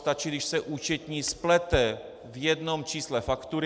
Stačí, když se účetní splete v jednom čísle faktury.